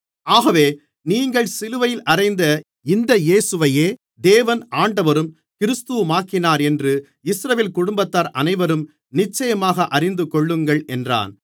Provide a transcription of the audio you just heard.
ஆகவே நீங்கள் சிலுவையில் அறைந்த இந்த இயேசுவையே தேவன் ஆண்டவரும் கிறிஸ்துவுமாக்கினாரென்று இஸ்ரவேல் குடும்பத்தார் அனைவரும் நிச்சயமாக அறிந்துகொள்ளுங்கள் என்றான்